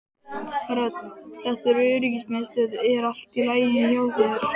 Rödd: Þetta er öryggismiðstöðin er allt í lagi hjá þér?